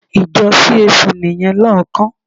Ìjọ CAC nìyẹn lóòókán.